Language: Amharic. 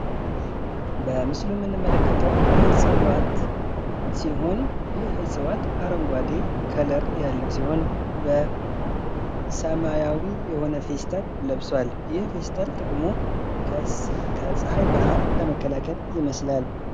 በምሥሉ ምንመልከተው ዕፀዋት ሲሆን ፤ይህ ዕፀዋት አረንጓዴ ቀለም ያለው ሲሆን፤ በሰማያዊ የሆነ ፌስታል ለብሷል ይፈታል። ጥቅሙ ከፀሐይ ብርሃን ለመከላከል ይመስላል።